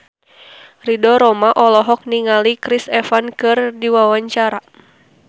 Ridho Roma olohok ningali Chris Evans keur diwawancara